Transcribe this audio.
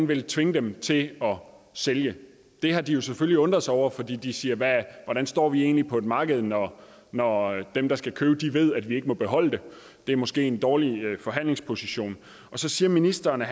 vil tvinge dem til at sælge det har de jo selvfølgelig undret sig over fordi de siger hvordan står vi egentlig på et marked når når dem der skal købe ved at vi ikke må beholde det det er måske en dårlig forhandlingsposition så siger ministeren at